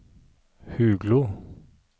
Huglo